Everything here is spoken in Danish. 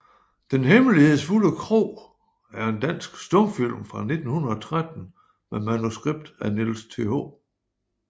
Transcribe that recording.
Den hemmelighedsfulde Kro er en dansk stumfilm fra 1913 med manuskript af Niels Th